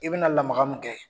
I bi na lamaka min kɛ